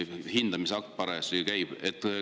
Hindamine parajasti käib.